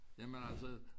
Jamen altså